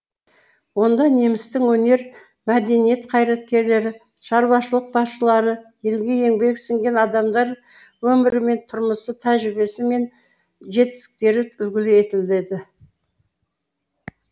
онда немістің өнер мәдениет қайраткерлері шаруашылық басшылары елге еңбегі сіңген адамдар өмірі мен тұрмысы тәжірибесі мен жетістіктері үлгі етіледі